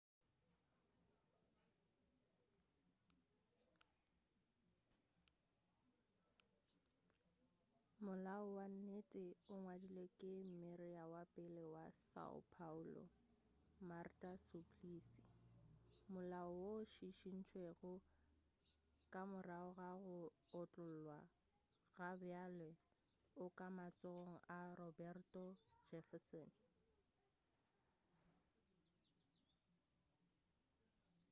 molao wa nnete o ngwadilwe ke mmeyara wa pele wa são paulo marta suplicy. molao woo o šišintšwego ka morago ga go otlollwa gabjale o ka matsogong a roberto jefferson